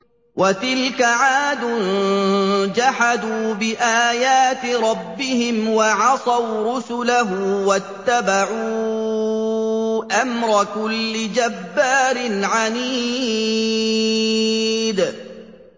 وَتِلْكَ عَادٌ ۖ جَحَدُوا بِآيَاتِ رَبِّهِمْ وَعَصَوْا رُسُلَهُ وَاتَّبَعُوا أَمْرَ كُلِّ جَبَّارٍ عَنِيدٍ